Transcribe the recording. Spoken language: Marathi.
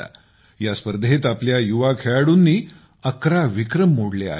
या स्पर्धेत आपल्या युवा खेळाडूंनी अकरा विक्रम मोडले आहेत